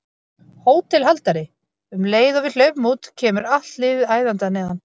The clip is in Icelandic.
HÓTELHALDARI: Um leið og við hlaupum út kemur allt liðið æðandi að neðan.